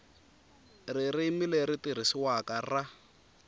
ririmi leri tirhisiwaka ra